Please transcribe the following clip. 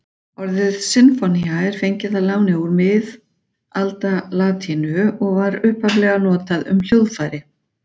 Orðið sinfónía er fengið að láni úr miðaldalatínu og var upphaflega notað um hljóðfæri.